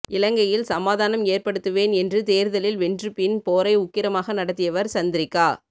இலங்கையில் சமாதானம் எற்படுத்துவேன் என்று தேர்தலில் வென்று பின் போரை உக்கிரமாக நாடத்தியவர் சந்திரிகா